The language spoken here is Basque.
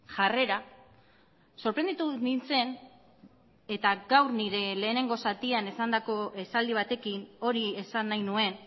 jarrera sorprenditu nintzen eta gaur nire lehenengo zatian esandako esaldi batekin hori esan nahi nuen